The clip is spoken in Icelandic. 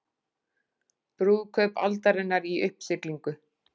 Brúðkaup aldarinnar í uppsiglingu